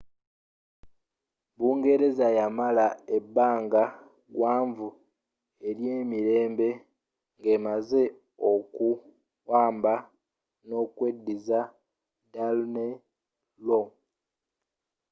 bungereza yamala ebbanga gwanvu eryemirembe ng'emaze okuwamba nokweddiza danelaw